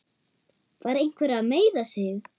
Var einhver að meiða sig?